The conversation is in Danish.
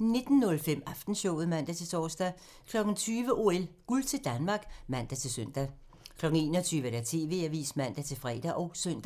19:05: Aftenshowet (man-tor) 20:00: OL: Guld til Danmark (man-søn) 21:00: TV-avisen (man-fre og søn)